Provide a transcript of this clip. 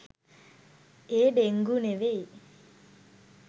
ඒ dengue නෙවෙයි